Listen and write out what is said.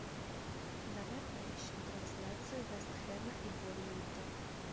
давай поищем трансляцию вест хэма и борнмута